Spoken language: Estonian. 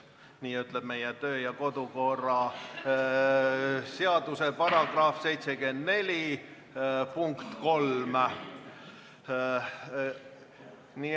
Nii ütleb meie kodu- ja töökorra seaduse § 74 lõige 3.